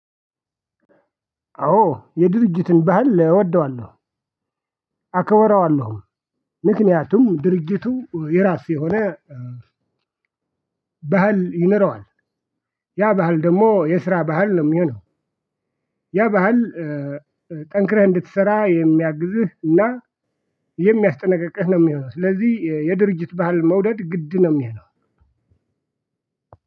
አዎ የድርጅትን ባህል እወደዋለሁ አከብረዋለሁም። ምክንያቱም ድርጅቱ የራሱ የሆነ ባህል ይኖረዋል። ያ ባህል ደግሞ የስራ ባህል ነው የሚሆነው። ያ ባህል ጠንክረህ እንድትሰራ የሚያግዝህ እና የሚያስጠነቅቅህ ነው የሚሆነው። ስለዚህ የድርጅት ባህል መውደድ ግድ ነው የሚሆነው።